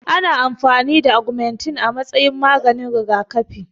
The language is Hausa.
Ana amfani da agumantin a matsayin maganin rigakafi